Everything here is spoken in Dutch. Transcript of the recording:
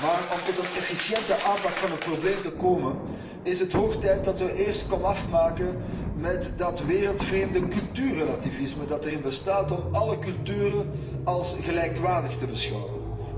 Maar om tot een efficiënte aanpak van het probleem te komen, is het hoog tijd dat we eerst komaf maken met dat wereldvreemde cultuurrelativisme dat erin bestaat om alle culturen als gelijkwaardig te beschouwen.